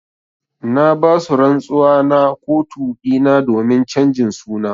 Na ba su rantsuwa na kotu dina domin chanjin suna.